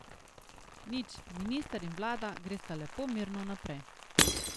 Nič, minister in vlada gresta lepo mirno naprej.